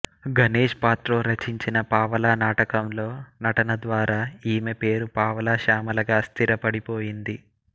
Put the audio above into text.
గణేష్ పాత్రో రచించిన పావలా నాటకంలో నటన ద్వారా ఈమె పేరు పావలా శ్యామలగా స్థిరపడిపోయింది